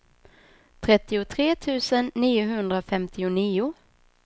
trettiotre tusen niohundrafemtionio